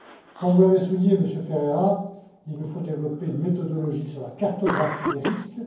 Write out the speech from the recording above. Comme vous l'avez souligné, Monsieur Ferreira, il nous faut développer une méthodologie sur la cartographie des risques.